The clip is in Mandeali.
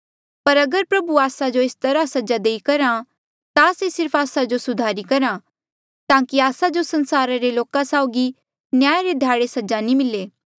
पर अगर प्रभु आस्सा जो एस तरहा सजा देई करहा ता से सिर्फ आस्सा जो सुधारी करहा ताकि आस्सा जो संसारा रे लोका साउगी न्याय रे ध्याड़े सजा नी मिले